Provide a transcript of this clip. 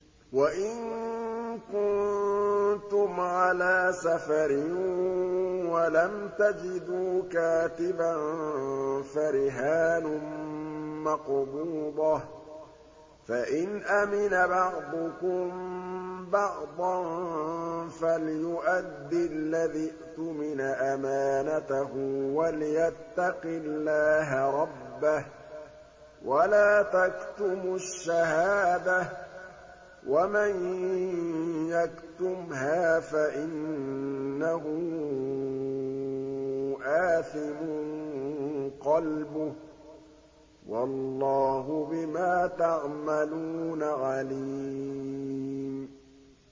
۞ وَإِن كُنتُمْ عَلَىٰ سَفَرٍ وَلَمْ تَجِدُوا كَاتِبًا فَرِهَانٌ مَّقْبُوضَةٌ ۖ فَإِنْ أَمِنَ بَعْضُكُم بَعْضًا فَلْيُؤَدِّ الَّذِي اؤْتُمِنَ أَمَانَتَهُ وَلْيَتَّقِ اللَّهَ رَبَّهُ ۗ وَلَا تَكْتُمُوا الشَّهَادَةَ ۚ وَمَن يَكْتُمْهَا فَإِنَّهُ آثِمٌ قَلْبُهُ ۗ وَاللَّهُ بِمَا تَعْمَلُونَ عَلِيمٌ